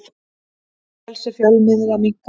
Frelsi fjölmiðla minnkar